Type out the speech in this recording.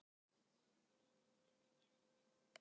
Það var þröngt í litla húsinu og allsstaðar voru krakkar.